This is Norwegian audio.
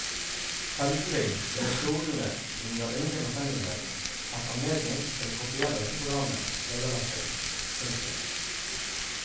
Følgelig ville skolene under ingen omstendighet hatt anledning til å kopiere dette programmet vederlagsfritt. punktum